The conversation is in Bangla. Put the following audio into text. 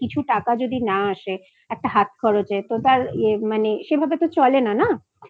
কিছু টাকা যদি না আসে একটা হাতখরচের তো তার মানে সেভাবে তো চলে না